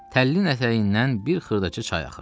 Təllinin ətəyindən bir xırdaca çay axırdı.